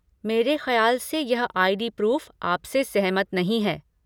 मेरे खयाल से यह आई.डी. प्रूफ़ आपसे सहमत नहीं है।